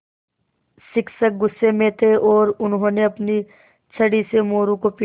शिक्षक गुस्से में थे और उन्होंने अपनी छड़ी से मोरू को पीटा